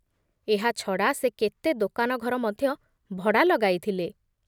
ଏହା ଛଡ଼ା ସେ କେତେ ଦୋକାନ ଘର ମଧ୍ୟ ଭଡ଼ା ଲଗାଇଥିଲେ ।